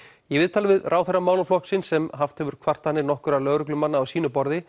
í viðtali við ráðherra málaflokksins sem haft hefur kvartanir nokkurra lögreglumanna á sínu borði